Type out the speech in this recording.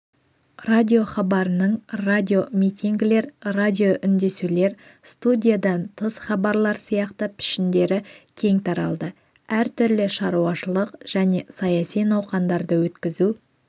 радиохабарының радиомитингілер радиоүндесулер студиядан тыс хабарлар сияқты пішіндері кең таралды әртүрлі шаруашылық және саяси науқандарды өткізу